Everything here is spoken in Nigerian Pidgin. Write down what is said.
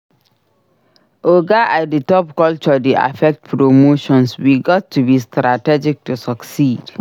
Oga at the top culture dey affect promotions; we gats to be strategic to succeed.